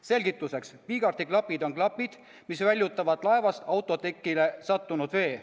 Selgituseks: piigarti klapid on klapid, mis väljutavad laevast autotekile sattunud vee.